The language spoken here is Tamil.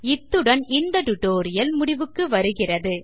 இத்துடன் இந்த டியூட்டோரியல் முடிவுக்கு வருகிறது